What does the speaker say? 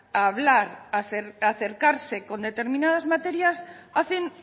hablar acercarse con determinadas materias hacen